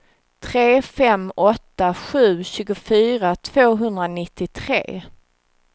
tre fem åtta sju tjugofyra tvåhundranittiotre